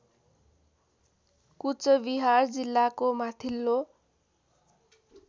कुचबिहार जिल्लाको माथिल्लो